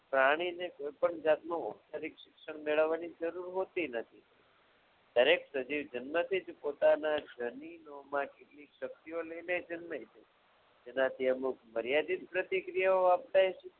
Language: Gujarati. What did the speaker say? જાણીને કોઈ પણ જાતનો ઉપચારિક મેળવવાની જરૂર હોતી નથી દરેક સજીવ જન્મથી જ પોતાના જનીનોમાં કેટલીક શક્તિઓ લઈને જન્મે છે એનાથી અમુક મર્યાદિત પ્રતિક્રિયાઓ આપતા